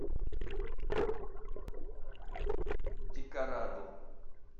декорадо